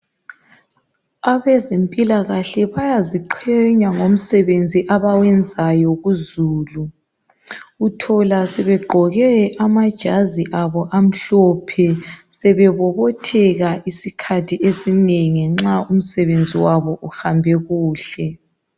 Abezempilakahle bayaziqenya ngomsebenzi abawenzayo kuzulu Uthola sebegqoke amajazi abo amhlophe sebebobotheka isikhathi esinengi nxa umsebenzi wabo uhambe kuhle